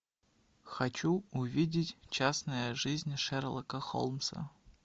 хочу увидеть частная жизнь шерлока холмса